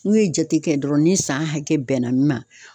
N'u ye jate kɛ dɔrɔn ni san hakɛ bɛnna min ma